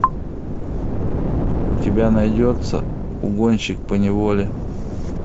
у тебя найдется угонщик поневоле